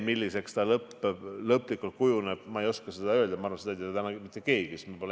Milliseks see lõplikult kujuneb, ma ei oska öelda ja ma arvan, et seda ei tea täna mitte keegi.